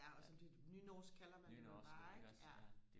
ja og sådan nynorsk kalder man det bare ikke ja